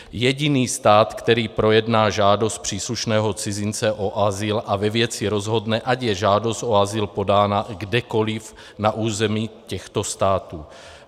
Jediný stát, který projedná žádost příslušného cizince o azyl a ve věci rozhodne, ať je žádost o azyl podána kdekoliv na území těchto států.